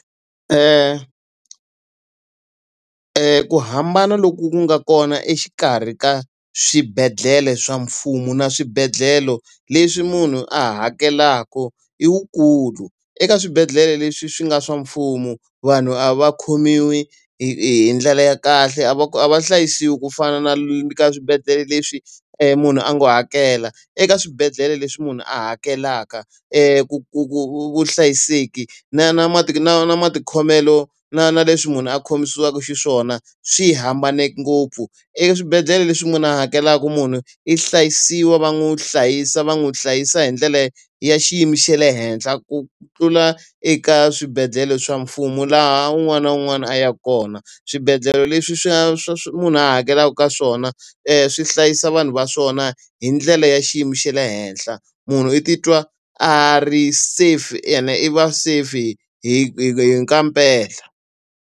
ku hambana loku nga kona exikarhi ka swibedhlele swa mfumo na swibedhlele leswi munhu a hakelaka i wukulu. Eeka swibedhlele leswi swi nga swa mfumo vanhu a va khomiwi hi hi hi ndlela ya kahle, a va a va hlayisiwa ku fana na ka swibedhlele leswi munhu a ngo hakela. Eka swibedhlele leswi munhu a hakelaka ku vuhlayiseki na na na na matikhomelo na na leswi munhu a khomisiwaka xiswona, swi hambane ngopfu. Eswibedhlele leswi munhu a hakelaka munhu i hlayisiwa va n'wi hlayisa va n'wi hlayisa hi ndlela ya xiyimo xa le henhla ku tlula eka swibedhlele swa mfumo, laha un'wana na un'wana a yaka kona. Swibedlhele leswi swi swi munhu a hakelaka ka swona swi hlayisa vanhu va swona hi ndlela ya xiyimo xa le henhla. Munhu i titwa a ri safe ene i va safe hi hi hi kampela.